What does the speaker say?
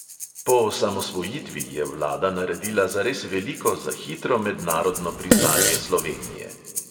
Po osamosvojitvi je vlada naredila zares veliko za hitro mednarodno priznanje slovenije.